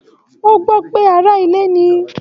O gbọ pé ará ilé ní.